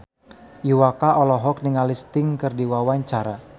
Iwa K olohok ningali Sting keur diwawancara